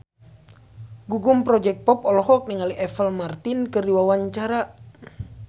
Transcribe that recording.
Gugum Project Pop olohok ningali Apple Martin keur diwawancara